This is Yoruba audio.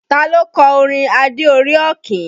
Ta ló kọ orin Adé orí Ọ̀kín?